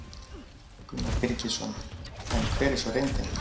Gunnar Birgisson: En hver er svo reyndin?